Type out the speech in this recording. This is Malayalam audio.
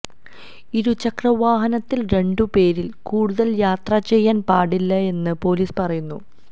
ഇരുചക്ര വാഹനത്തില് രണ്ടുപേരില് കൂടുതല് യാത്ര ചെയ്യാന് പാടില്ലയെന്ന് പോലീസ് പറയുന്നു